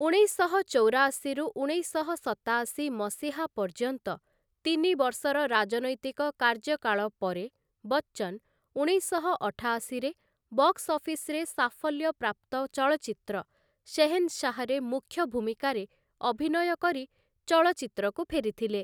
ଉଣେଶଶହ ଚଉରାଅଶୀରୁ ଉଣେଶଶହ ସତାଅଶୀ ମସିହା ପର୍ଯ୍ୟନ୍ତ ତିନି ବର୍ଷର ରାଜନୈତିକ କାର୍ଯ୍ୟକାଳ ପରେ ବଚ୍ଚନ୍‌ ଉଣେଶଶହ ଅଠାଅଶୀ ରେ ବକ୍ସ-ଅଫିସ୍‌ରେ ସାଫଲ୍ୟ ପ୍ରାପ୍ତ ଚଳଚ୍ଚିତ୍ର 'ଶେହେନ୍‌ଶାହ୍‌'ରେ ମୁଖ୍ୟ ଭୂମିକାରେ ଅଭିନୟ କରି ଚଳଚ୍ଚିତ୍ରକୁ ଫେରିଥିଲେ ।